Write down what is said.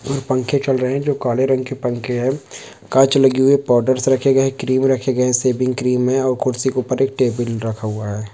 और पंखे चल रहे है जो काले रंग के पंखे है कांच लगी हुई है पाउडरस रखे गए हे क्रीम रखे गए हे शेविंग क्रीम है और कुर्सी को उपर एक टेबल रखा हुआ है।